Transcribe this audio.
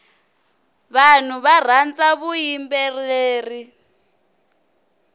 vanhu varhandza vuyimbeleri